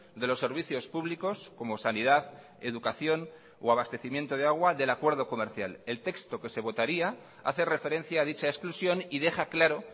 de los servicios públicos como sanidad educación o abastecimiento de agua del acuerdo comercial el texto que se votaría hace referencia a dicha exclusión y deja claro